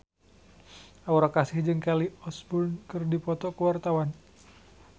Aura Kasih jeung Kelly Osbourne keur dipoto ku wartawan